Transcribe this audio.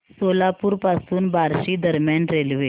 सोलापूर पासून बार्शी दरम्यान रेल्वे